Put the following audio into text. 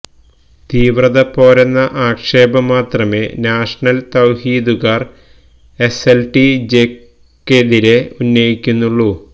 തീവ്രത പോരെന്ന ആക്ഷേപം മാത്രമേ നാഷനൽ തൌഹീദുകാർ എസ് എൽ ടി ജെക്കെതിരെ ഉന്നയിക്കുന്നുള്ളൂ